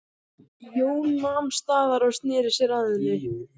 Jón nam staðar og sneri sér að henni.